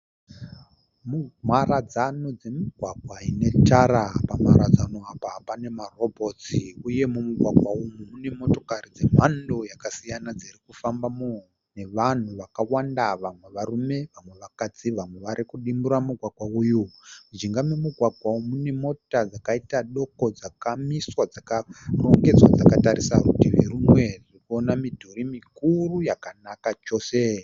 Mharadzano dzemigwagwa inetara. Pamharadzano apa pane marobhotsi uye mumugwagwa umu mune motokari dzemando dzakasiyana dzirikufambamo nevanhu vakawanda vamwe varume vamwe vakadzi vamwe varikudimbura mugwagwa uyu. Mujinga memugwagwa uyu mune mota dzakaita doko dzakamiswa dzakarongedzwa dzakatarisa rutivi rumwe. Tirikuona midhuri mikuru yakanaka chose.